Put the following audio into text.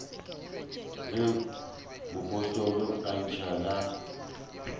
ge mopostola a ntšha la